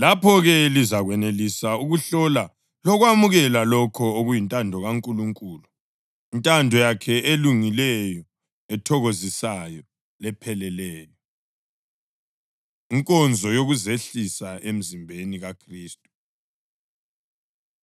Lapho-ke lizakwenelisa ukuhlola lokwamukela lokho okuyintando kaNkulunkulu, intando yakhe elungileyo, ethokozisayo lepheleleyo. Inkonzo Yokuzehlisa Emzimbeni KaKhristu